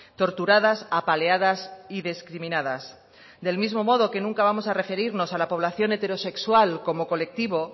torturadas apaleadas y discriminadas del mismo modo que nunca vamos a referirnos a la población heterosexual como colectivo